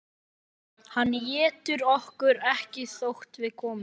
Hann étur okkur ekki þótt við komum.